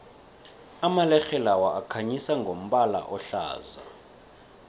amalerhe lawa akhanyisa ngombala ohlaza